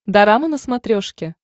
дорама на смотрешке